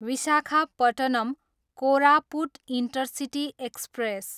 Visakhapatnam, Koraput intercity express